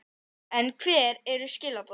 En hver eru skilaboðin?